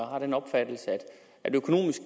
har den opfattelse at økonomisk